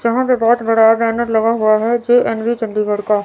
यहां पर बहोत बड़ा बैनर लगा हुआ है जो अन्वी चंडीगढ़ का--